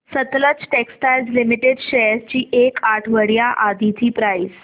Sutlej textiles limited shares ची एक आठवड्या आधीची प्राइस